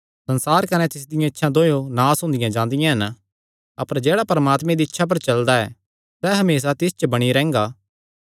संसार कने तिसदियां इच्छां दोयो नास हुंदियां जांदियां हन अपर जेह्ड़ा परमात्मे दी इच्छा पर चलदा ऐ सैह़ हमेसा तिस च बणी रैंह्गा